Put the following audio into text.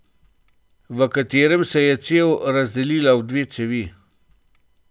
V katerem se je cev razdelila v dve cevi.